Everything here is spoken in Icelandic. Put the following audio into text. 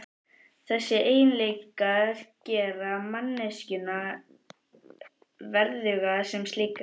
Þessir eiginleikar gera manneskjuna verðuga sem slíka.